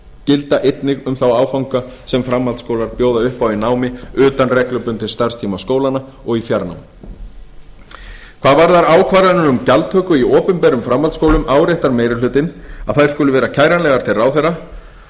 gilda einnig um þá áfanga sem framhaldsskólar bjóða upp á í námi utan reglubundins starfstíma skólanna og í fjarnámi hvað varðar ákvarðanir um gjaldtöku í opinberum framhaldsskólum áréttar meiri hlutinn að þær skulu vera kæranlegar til ráðherra